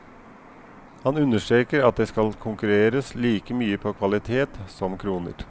Han understreker at det skal konkurreres like mye på kvalitet som kroner.